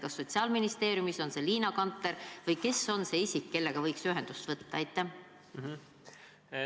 Kas Sotsiaalministeeriumis on see Liina Kanter või on seal keegi muu, kellega võiks ühendust võtta?